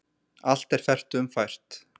Allt er fertugum fært